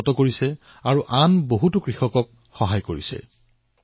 ইছমাইল ভায়ে এই আলু ডাঙৰ ডাঙৰ কোম্পানীক বিক্ৰী কৰে মধ্যভোগীৰ তাত চিনমোকাম নাই